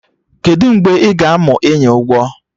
Kedụ mgbe ị ga-amụ ịnya ụgbọ?